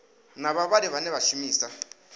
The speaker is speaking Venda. na vhavhali vhane vha shumisa